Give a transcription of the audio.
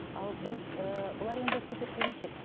ал біз ііі бұлар енді супер келіншек